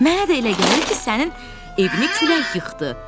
Mənə də elə gəlir ki, sənin evini külək yıxdı.